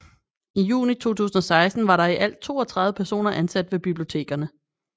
I juni 2016 var der i alt 32 personer ansat ved bibliotekerne